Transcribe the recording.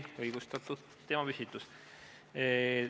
Igati õigustatud teemapüstitus.